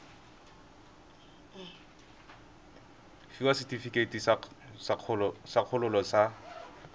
fiwa setefikeiti sa kgololo sa